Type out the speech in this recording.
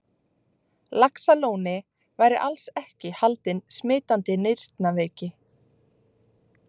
Laxalóni væri alls ekki haldinn smitandi nýrnaveiki.